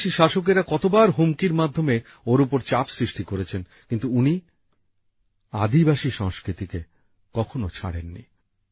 বিদেশি শাসকেরা কতবার হুমকির মাধ্যমে ওঁর ওপর চাপ সৃষ্টি করেছেন কিন্তু উনি আদিবাসী সংস্কৃতিকে কখনো ছাড়েননি